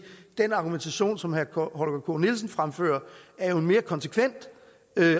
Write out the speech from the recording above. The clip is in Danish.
den argumentation som herre holger k nielsen fremførte er en mere konsekvent